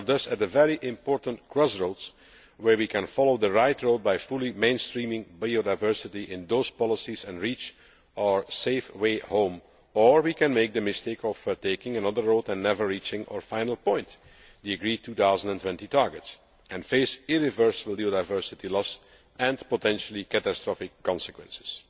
We are thus at a very important crossroads, where we can follow the right road by fully mainstreaming biodiversity in those policies and reach our safe way home', or we can make the mistake of taking another road and never reaching our final point the agreed 2020 target and face irreversible biodiversity loss and potentially catastrophic consequences.